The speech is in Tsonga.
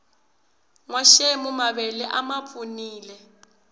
nwaxemu mavele a mapfunile